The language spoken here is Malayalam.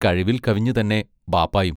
കഴിവിൽ കവിഞ്ഞുതന്നെ ബാപ്പായും.